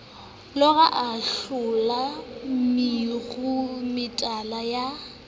lora a haola meruemetala ya